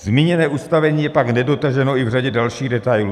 Zmíněné ustavení je pak nedotaženo i v řadě dalších detailů.